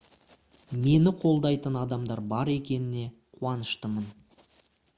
мені қолдайтын адамдар бар екене қуаныштымын